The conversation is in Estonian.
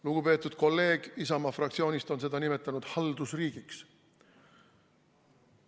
Lugupeetud kolleeg Isamaa fraktsioonist on seda nimetanud haldusriigiks.